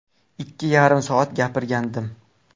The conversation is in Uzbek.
Ikki yarim soat gapirgandim.